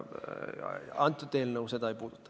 See eelnõu seda ei puuduta.